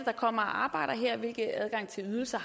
der kommer og arbejder her og hvilken adgang til ydelser